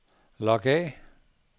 log af